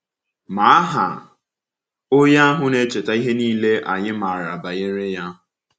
Ma aha onye ahụ na-echeta ihe niile anyị maara banyere Ya.